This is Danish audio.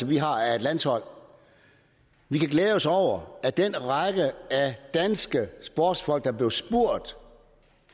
vi har af et landshold vi kan glæde os over at den række af danske sportsfolk der blev spurgt